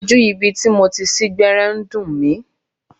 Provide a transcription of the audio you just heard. Ojú ibi tí mo ti sín gbẹ́rẹ́ ń dùn mí.